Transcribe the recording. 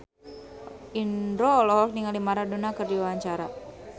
Indro olohok ningali Maradona keur diwawancara